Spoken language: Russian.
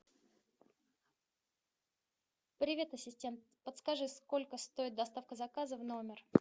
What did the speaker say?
привет ассистент подскажи сколько стоит доставка заказа в номер